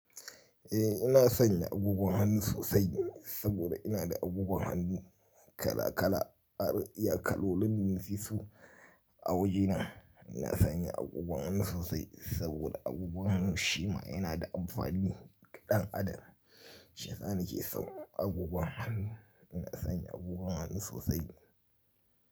Eh ina sanye agogon hannu sosai saboda ina da agogon hannu kala kala, iya kaloli, ninsi su a wajena. Ina sanye agogon hannu sosai saboda agogon hannu shima yana da amfani ga dan adam. Shiyasa nike son agogon hannu, ina sanye agogon hannu sosai.